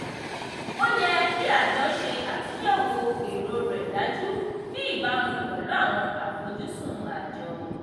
ó yẹ kí àjọ ṣe àtúnyẹ̀wò èrò rẹ̀ dájú ní ìbámu pẹ̀lú àwọn àfojúsùn àjọ.